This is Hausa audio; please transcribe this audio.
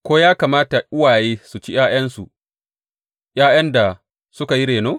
Ko ya kamata uwaye su ci ’ya’yansu, ’ya’yan da suka yi reno?